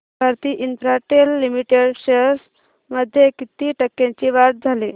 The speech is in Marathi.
भारती इन्फ्राटेल लिमिटेड शेअर्स मध्ये किती टक्क्यांची वाढ झाली